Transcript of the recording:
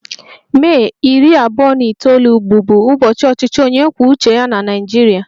Mee iri abuo na itoolu bụbu ụbọchị ọchịchị onye kwuo uche ya na Naịjirịa